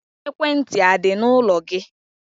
Ekwentị a dị n'ụlọ gị?